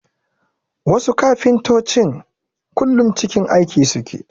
Wasu kafintotocin kullum cikin aiki suke